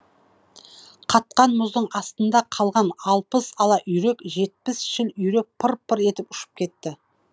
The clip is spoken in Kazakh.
қатқан мұздың астында қалған алпыс ала үйрек жетпіс шіл үйрек пыр пыр етіп ұшып кетті